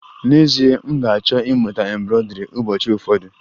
N'ezie, m ga-achọ ịmụta embroidri ụbọchị ụfọdụ